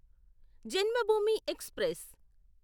Janmabhoomi express